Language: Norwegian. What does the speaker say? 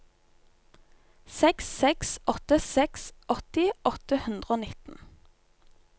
seks seks åtte seks åtti åtte hundre og nitten